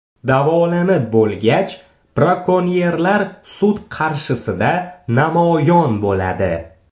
Davolanib bo‘lgach, brakonyerlar sud qarshisida namoyon bo‘ladi.